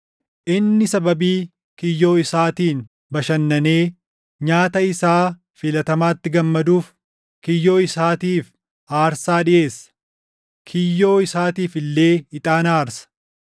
Inni sababii kiyyoo isaatiin bashannanee nyaata isaa filatamaatti gammaduuf kiyyoo isaatiif aarsaa dhiʼeessa; kiyyoo isaatiif illee ixaana aarsa.